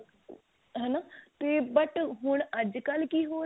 ਹਨਾ ਤੇ but ਹੁਣ ਅੱਜਕਲ ਕੀ ਹੋ ਰਿਹਾ